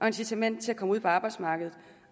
incitament til at komme ud på arbejdsmarkedet